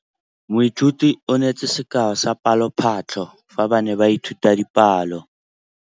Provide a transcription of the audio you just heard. Moithuti o neetse sekaô sa palophatlo fa ba ne ba ithuta dipalo.